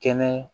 Kɛnɛ